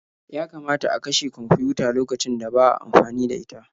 Yakamata a kashe kwamfiyuta lokacin da ba a amfani da ita.